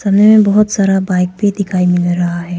सामने मे बहुत सारा बाइक भी दिखाई मिल रहा है।